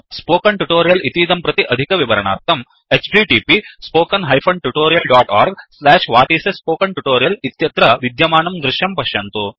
spoken tutorial इतीदं प्रति अधिकविवरणार्थं 1 इत्यत्र विद्यमानं दृश्यं पश्यन्तु